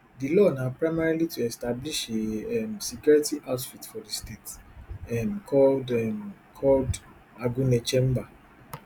di law na primarily to establish a um security outfit for di state um called um called agunechemba